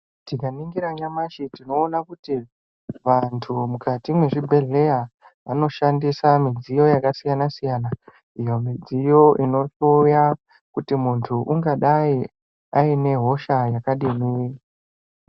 Tikaningira nyamashi tinoone kuti vantu mukati mwezvibhedhleya anoshandisa midziyo yakasiyana siyana iyo midziyo inohloya kuti muntu ungadai aine hosha yakadini.